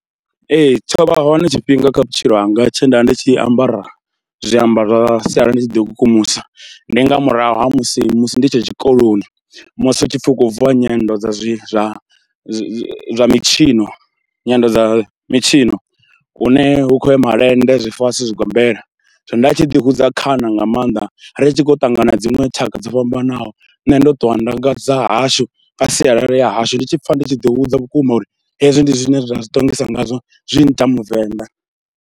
Ee tsho vha hone tshifhinga kha vhutshilo hanga tshe nda vha ndi tshi ambara zwiambaro zwa sialala ndi tshi ḓikukumusa. Ndi nga murahu ha musi musi ndi tshe tshikoloni, musi hu tshi pfhi hu kho bviwa nyendo dza zwi zwa zwi mitshino, nyendo dza mitshino hune hu khou ya malende, zwifasi, zwigombela. Zwino nda tshi ḓihudza khana nga maanḓa ri tshi khou ṱangana na dziṅwe tshaka dzo fhambanaho nṋe ndo ṱuwa nga dza hashu, nga sialala ya hashu, ndi tshi pfha ndi tshi ḓihudza vhukuma uri hezwi ndi zwine nda zwi ṱongisa ngazwo zwi ngita muvenḓa.